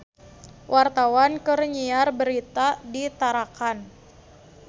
Wartawan keur nyiar berita di Tarakan